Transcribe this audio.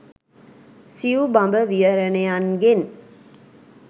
සිවු බඹ විහරණයන්ගෙන්